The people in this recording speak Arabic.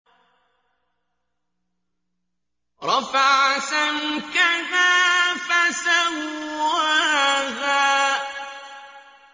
رَفَعَ سَمْكَهَا فَسَوَّاهَا